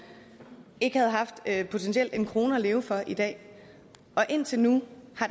ikke havde haft potentielt en krone at leve for i dag og indtil nu